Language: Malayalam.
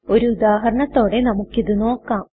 ഒരു ഉദാഹരണത്തോടെ നമുക്ക് ഇത് നോക്കാം